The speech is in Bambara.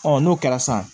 n'o kɛra san